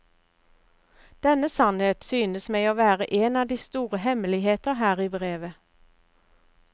Denne sannhet synes meg å være en av de store hemmeligheter her i brevet.